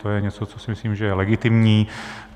To je něco, co si myslím, že je legitimní.